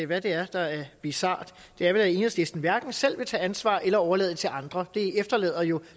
hvad det er der er bizart det er vel at enhedslisten hverken selv vil tage ansvar eller overlade det til andre det efterlader jo